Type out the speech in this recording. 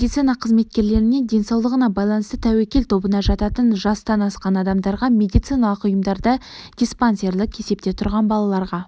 медицина қызметкерлеріне денсаулығына байланысты тәуекел тобына жататын жастан асқан адамдарға медициналық ұйымдарда диспансерлік есепте тұрған балаларға